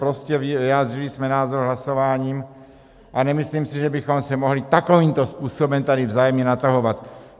Prostě vyjádřili jsme názor hlasováním a nemyslím si, že bychom se mohli takovýmto způsobem tady vzájemně natahovat!